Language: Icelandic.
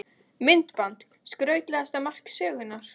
Myndband: Skrautlegasta mark sögunnar?